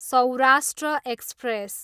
Saurashtra express